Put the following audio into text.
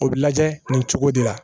O bɛ lajɛ nin cogo de la